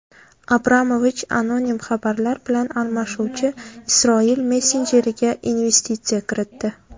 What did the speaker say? Abramovich anonim xabarlar bilan almashuvchi Isroil messenjeriga investitsiya kiritdi.